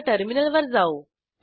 आता टर्मिनल वर जाऊ